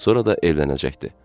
Sonra da evlənəcəkdi.